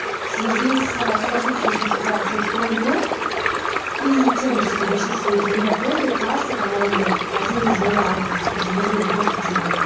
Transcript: в связи со сложившейся ситуацией в стране и тем что большинство людей не работают трасса по-моему один из вариантов где можно заработать денег